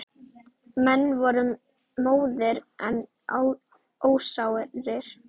Menn voru móðir en ósárir.